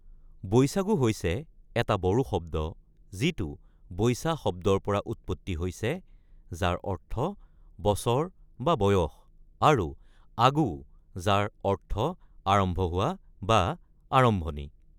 বৈচাগু হৈছে এটা বড়ো শব্দ যিটো "বৈচা" শব্দৰ পৰা উৎপত্তি হৈছে যাৰ অৰ্থ বছৰ বা বয়স, আৰু "আগু" যাৰ অৰ্থ আৰম্ভ হোৱা বা আৰম্ভণি।